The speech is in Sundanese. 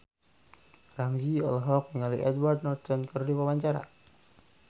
Ramzy olohok ningali Edward Norton keur diwawancara